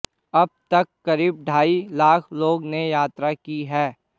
अब तक करीब ढाई लाख लोगों ने यात्रा की है